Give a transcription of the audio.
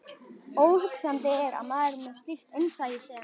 Óhugsandi er að maður með slíkt innsæi sem